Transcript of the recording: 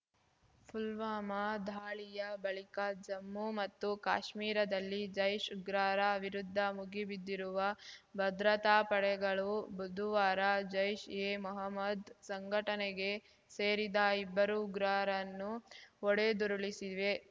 ಪುಲ್ವಾಮಾ ದಾಳಿಯ ಬಳಿಕ ಜಮ್ಮು ಮತ್ತು ಕಾಶ್ಮೀರದಲ್ಲಿ ಜೈಷ್‌ ಉಗ್ರರ ವಿರುದ್ಧ ಮುಗಿಬಿದ್ದಿರುವ ಭದ್ರತಾ ಪಡೆಗಳು ಬುದುವಾರ ಜೈಷ್‌ ಎ ಮೊಹಮ್ಮದ್‌ ಸಂಘಟನೆಗೆ ಸೇರಿದ ಇಬ್ಬರು ಉಗ್ರರನ್ನು ಹೊಡೆದುರುಳಿಸಿವೆ